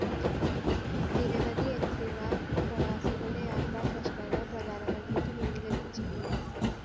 നിരവധി എംപിമാര്‍ പ്രവാസികളുടെ യാത്രാ പ്രശ്‌നങ്ങള്‍ പ്രധാനമന്ത്രിക്ക് മുന്നില്‍ എത്തിച്ചിട്ടുണ്ട്